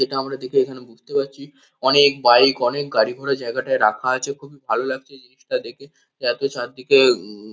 যেটা আমরা দেখে এখানে বুঝতে পারছি অনেক বাইক অনেক গাড়ি-ঘোড়া জায়গাটায় রাখা আছে। খুবই ভালো লাগছে জিনিসটা দেখে। এতো চারদিকে উম --